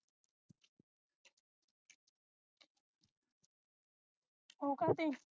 ਉਹ ਕਾਹ ਤੇ